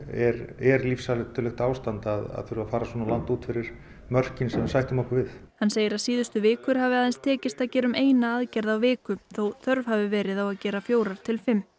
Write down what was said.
er er lífshættulegt ástand að þurfa að fara svona langt út fyrir mörkin sem að sætta okkur við hann segir að síðustu vikur hafi aðeins tekist að gera um eina aðgerð á viku þó þörf hafi verið á að gera fjórar til fimm